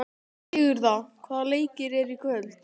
Sigurða, hvaða leikir eru í kvöld?